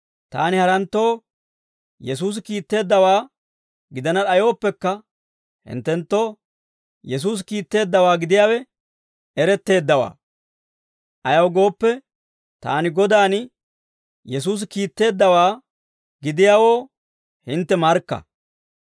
Taani haranttoo Yesuusi kiitteeddawaa gidana d'ayooppekka, hinttenttoo Yesuusi kiitteeddawaa gidiyaawe eretteeddawaa; ayaw gooppe, taani Godan Yesuusi kiitteeddawaa gidiyaawoo hintte markka.